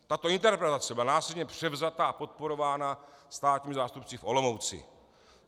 Tato interpretace byla následně převzata a podporována státními zástupci v Olomouci.